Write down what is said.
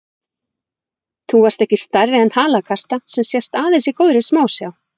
Þú varst ekki stærri en halakarta, sem sést aðeins í góðri smásjá.